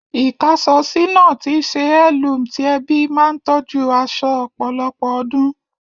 Ikàásọsi náà tíí se heirloom ti ẹbí ma n tójú aso ọ̀pọ̀lọpọ̀ odún